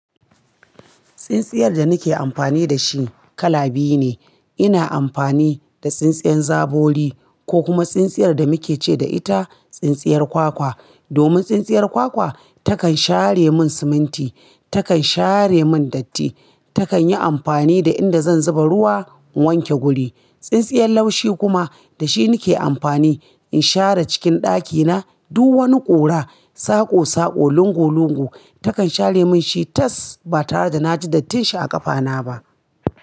Tsintsiyar da nake amfani da shi kala biyu ne. Ina amfani da tsintsiyar zabori ko kuma tsintsiyar da muke ce da ita tsintsiyar kwakwa. Domin tsintsiyar kwakwa takan share mun siminti, takan share mun datti, takan yi amfani da inda zan zuba ruwa in wanke guri. Tsintsiyar laushi kuma da shi nake amfani in share cikin ɗakina, duk wani ƙura, saƙosaƙo, lungulungu takan share mun shi tas ba tare da na ji dattin shi a ƙafana ba.